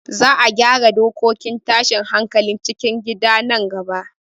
Za a gyara dokokin tashin hankalin cikin gida nan gaba